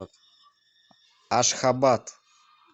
ашхабад